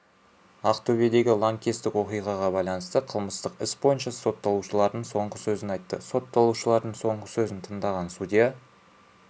ақтөбедегі лаңкестік оқиғаға байланысты қылмыстық іс бойынша сотталушылар соңғы сөзін айтты сотталушылардың соңғы сөзін тыңдаған судья